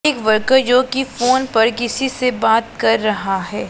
एक वर्कर जो की फोन पर किसी से बात कर रहा है।